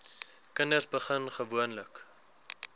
kinders begin gewoonlik